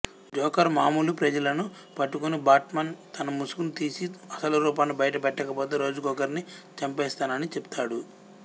joker మాములు ప్రజలను పట్టుకుని బాట్మాన్ తన ముసుగుని తీసి అసలు రూపాన్ని బయట పెట్టకపోతే రోజుకొకరిని చంపేస్తానని చెప్తాడు